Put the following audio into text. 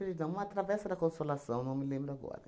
da uma travessa da Consolação, não me lembro agora.